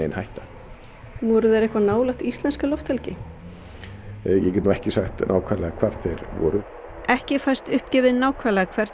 hætta voru þeir eitthvað nálægt íslenskri lofthelgi ég get ekki sagt nákvæmlega hvar þeir voru ekki fæst uppgefið nákvæmlega hvert